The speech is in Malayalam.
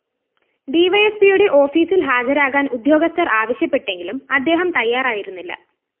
ഡിവൈഎസ്പിയുടെ ഓഫീസില്‍ ഹാജരാകാന്‍ ഉദ്യോഗസ്ഥര്‍ ആവശ്യപ്പെട്ടെങ്കിലും അദ്ദേഹം തയ്യാറായിരുന്നില്ല